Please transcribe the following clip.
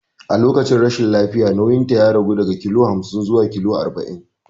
A lokacin rashin lafiya nauyinta ya ragu daga kilo hamsin zuwa kilo arba'in.